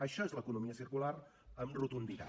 això és l’economia circular amb rotunditat